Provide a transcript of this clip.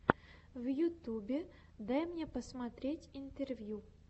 в ютюбе дай мне посмотреть интервью